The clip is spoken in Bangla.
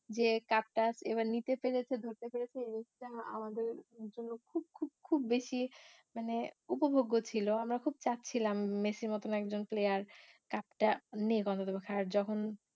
যে cup টা এবার নিতে পেরেছে ধরতে পেরেছে এইটা আমাদের জন্য খুব খুব খুব বেশি মানে উপভোগ্য ছিল আমরা খুব চাচ্ছিলাম মেসির মতন একজন player cup টা নিক অন্তত খারাপ যখন